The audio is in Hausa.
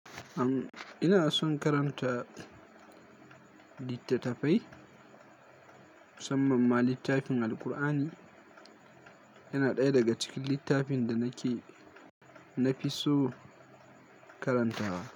Am, ina son karanta littatafai, musamman ma littafin Alkur'ani yana ɗaya daga cikin littafin da nake na fi so karantawa.